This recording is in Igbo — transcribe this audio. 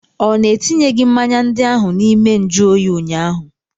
Ọ na etinyeghị mmanya ndị ahụ n'ime nju oyi ụnyaahụ?